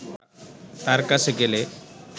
তাঁর কাছে গেলে